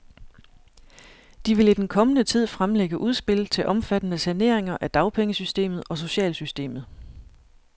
De vil i den kommende tid fremlægge udspil til omfattende saneringer af dagpengesystemet og socialsystemet.